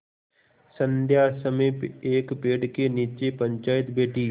संध्या समय एक पेड़ के नीचे पंचायत बैठी